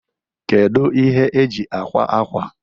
Kedu ihe eji akwa akwa?